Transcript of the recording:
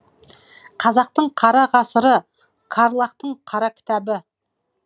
қазақтың қара ғасыры қарлагтың қара кітабы